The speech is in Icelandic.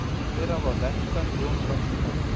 Hera var verndari hjónabands og kvenna.